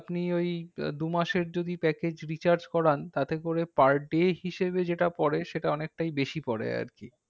আপনি ওই দুমাসের যদি package recharge করান, তাতে করে per day হিসেবে যেটা পরে সেটা অনেকটাই বেশি পরে আরকি।